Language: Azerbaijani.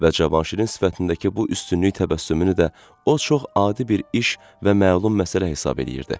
Və Cavanşirin sifətindəki bu üstünlük təbəssümünü də o çox adi bir iş və məlum məsələ hesab eləyirdi.